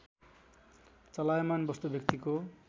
चलायमान वस्तु व्यक्तिको